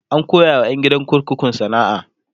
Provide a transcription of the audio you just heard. an koya wa ƴan gidan kurkukun sana'a